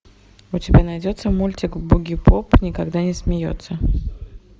у тебя найдется мультик бугипоп никогда не смеется